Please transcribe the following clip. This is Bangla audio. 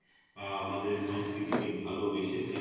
আহ আমাদের সংস্কৃতি কে ভালোবেসেছে